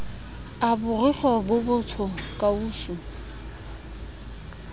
a borikgwe bo botsho kausu